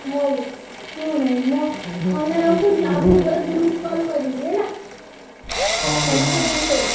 ହଉ ଶୁଣୁ ମୋ phone ରଖୁଛି ଆଉ ଟିକେ ପରେ group call କରିବି ହେଲା। ସମସ୍ତେ join କରିବ।